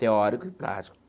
Teórico e prático.